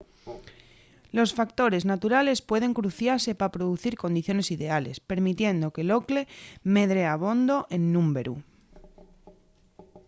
los factores naturales pueden cruciase pa producir condiciones ideales permitiendo que l’ocle medre abondo en númberu